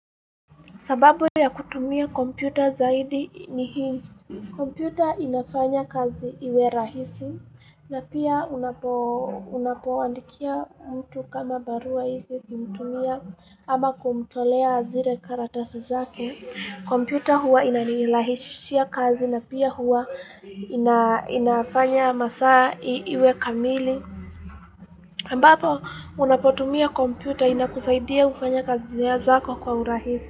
Sababu ya kutumia kompyuta zaidi ni hii. Kompyuta inafanya kazi iwe rahisi na pia unapoandikia mtu kama barua hivyo kumtumia ama kumtolea zire karatasi zake. Kompyuta huwa inanilahishishia kazi na pia huwa inafanya masaa iwe kamili. Mbapo unapotumia kompyuta inakusaidia ufanya kazi zako kwa urahisi.